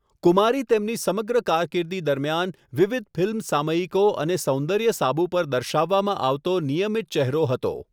કુમારી તેમની સમગ્ર કારકિર્દી દરમિયાન વિવિધ ફિલ્મ સામયિકો અને સૌન્દર્ય સાબુ પર દર્શાવવામાં આવતો નિયમિત ચહેરો હતો.